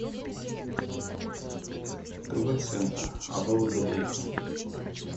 тв центр абвгдейка